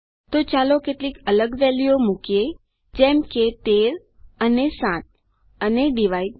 તો ચાલો કેટલીક અલગ વેલ્યુઓ મુકીએ જેમ કે 13 અને 7 અને ડિવાઇડ